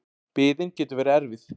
Biðin getur verið erfið.